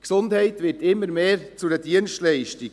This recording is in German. Die Gesundheit wird immer mehr zu einer Dienstleistung.